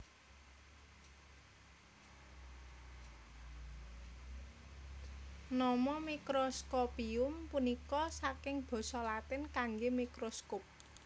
Nama Microscopium punika saking basa Latin kanggé microscope